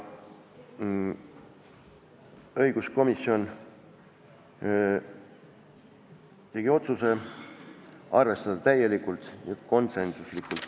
" Õiguskomisjon tegi otsuse arvestada seda täielikult ja otsus oli konsensuslik.